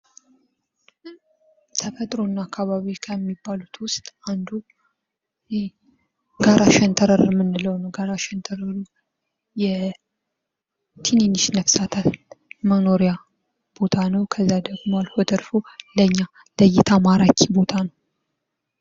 ተፈጥሮና አካባቢ ከሚባሉት ውስጥ አንዱ ጋራ ሸንተረር የምንለው ጋራ ሸንተረር የትንንሽ ነፍሳት መኖሪያ ቦታ ነው። ከዚያ ደግሞ አልፎ ተርፎ ለኛ ለእይታ ማራኪ ቦታ ነው።